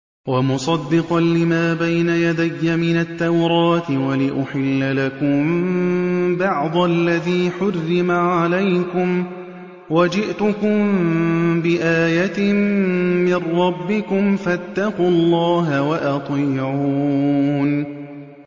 وَمُصَدِّقًا لِّمَا بَيْنَ يَدَيَّ مِنَ التَّوْرَاةِ وَلِأُحِلَّ لَكُم بَعْضَ الَّذِي حُرِّمَ عَلَيْكُمْ ۚ وَجِئْتُكُم بِآيَةٍ مِّن رَّبِّكُمْ فَاتَّقُوا اللَّهَ وَأَطِيعُونِ